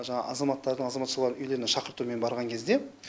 жаңағы азаматтардың азаматшалардың үйлеріне шақыртумен барған кезде